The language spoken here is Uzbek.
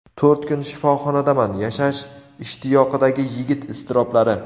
to‘rt kun shifoxonadaman – yashash ishtiyoqidagi yigit iztiroblari.